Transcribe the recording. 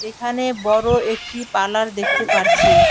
এখানে বড় একটি পালার দেখতে পারছি।